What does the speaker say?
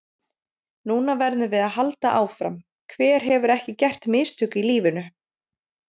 Núna verðum við að halda áfram, hver hefur ekki gert mistök í lífinu?